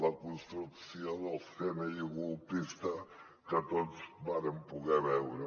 la construcció del cni colpista que tots vàrem poder veure